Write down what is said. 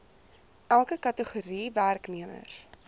elke kategorie werknemers